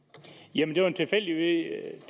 jamen